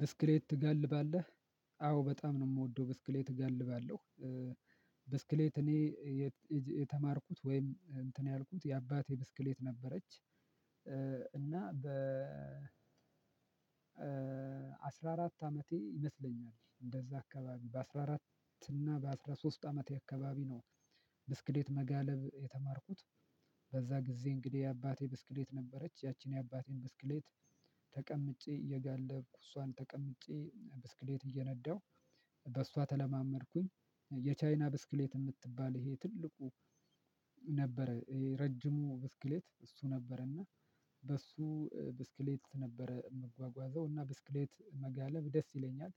ብስክሌት ትጋልባለህ? አዎ በጣም ነው የምወደው! ብስክሌት እጋልባለሁ ብስክሌት እኔ የተማርኩት ወይም እንትን ያልኩት የአባቴ ብስክሌት ነበረች እና አስራ አራት አመቴ ይመስለኛል እንደዛ አካባቢ በአስራ አራት እና በአስራ ሶስት አመቴ የአካባቢ ነው ብስክሌት መጋለብ የተማርኩት በዛ ጊዜ እንግዲህ የአባቴ ብስክሌት ነበረች። ያቺን የአባቴን ብስክሌት ተቀምጬ እየጋለብኩ እሷን ተቀምጬ ብስክሌት እየነዳሁ በሷ ተለማመድኩኝ የቻይና ብስክሌት የምትባል ይሄ ትልቁ ነበረ። ረጅሙ ብስክሌት እሱ ነበረና በሱ ብስክሌት ነበረ የምጓጓዘው እና ብስክሌት መጋለብ ደስ ይለኛል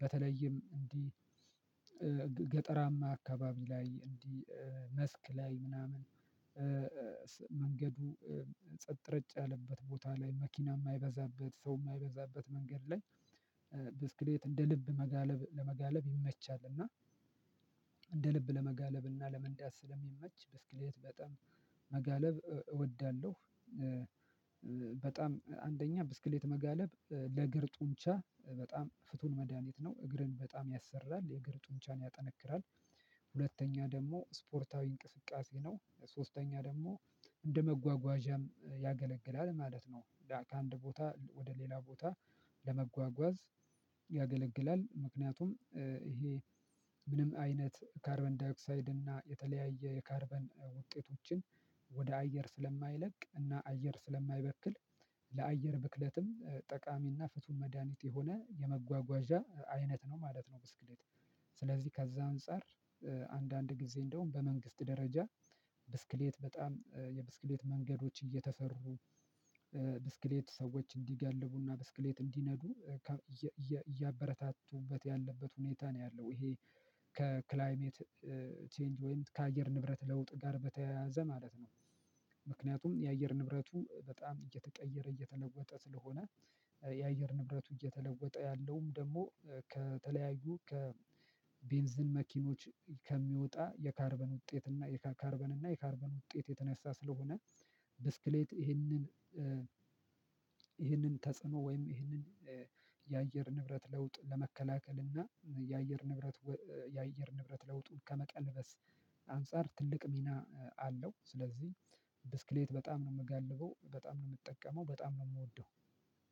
በተለይም እንዲህ ገጠራማ አካባቢ ላይ እንዲህ መስክ ላይ ምናምን መንገዱ ጸጥ ረጭ ያለበት ቦታ ላይ፣ መኪና የማይበዛበት፣ ሰው የማይበዛበት መንገድ ላይ ብስክሌት እንደ ልብ መጋለብ ለመጋለብ ይመቻል እና እንደ ልብ ለመጋለብና ለመንዳት ስለሚመች ብስክሌት በጣም መጋለብ እወዳለሁ በጣም አንደኛ ብስክሌት መጋለብ ለእግር ጡንቻ በጣም ፍቱን መድሃኒት ነው። እግርን በጣም ያሰራል። የእግር ጡንቻን ያጠነክራል ሁለተኛ ደግሞ ስፖርታዊ እንቅስቃሴ ነው፣ ሶስተኛ ደግሞ እንደመጓጓዣም ያገለግላል ማለት ነው። ከአንድ ቦታ ወደ ሌላ ቦታ ለመጓጓዝ ያገለግላል ምክንያቱም ይሄ ምንም አይነት ካርበን ዳይክሳይድ እና የተለያየ የካርበን ውጤቶችን ወደ አየር ስለማይለቅ እና አየር ስለማይበክል ለአየር ብክለትም ጠቃሚና ፍቱን መድሃኒት የሆነ የመጓጓዣ አይነት ነው ማለት ነው። ብስክሌት ስለዚህ ከዛ አንፃር አንዳንድ ጊዜ እንደውም በመንግስት ደረጃ ብስክሌት በጣም የብስክሌት መንገዶች እየተሰሩ ብስክሌት ሰዎች እንዲጋልቡና ብስክሌት እንዲነዱ እያበረታቱበት ያለበት ሁኔታ ነው ያለው። ይሄ ከክላይሜት ቼንጅ ወይም ከአየር ንብረት ለውጥ ጋር በተያያዘ ማለት ነው ምክንያቱም የአየር ንብረቱ በጣም እየተቀየረ፣ እየተለወጠ ስለሆነ የአየር ንብረቱ እየተለወጠ ያለውም ደግሞ ከተለያዩ ከቤንዝን መኪኖች ከሚወጣ የካርበን ውጤት እና ካርበን እና የካርበን ውጤት የተነሳ ስለሆነ ብስክሌት ይሄንን ይሄንን ተጽዕኖ ወይም ይሄንን የአየር ንብረት ለውጥ ለመከላከል እና የአየር ንብረት የአየር ንብረት ለውጡን ከመቀልበስ አንፃር ትልቅ ሚና አለው ስለዚህ ብስክሌት በጣም ነው የምጋልበው፣ በጣም ነው የምጠቀመው፣ በጣም ነው የምወደው